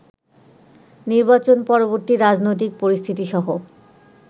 নির্বাচন পরবর্তী রাজনৈতিক পরিস্থিতিসহ